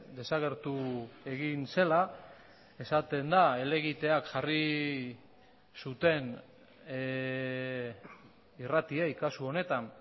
desagertu egin zela esaten da helegiteak jarri zuten irratiei kasu honetan